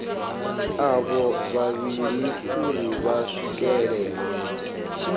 avho vhavhili uri vha swikelele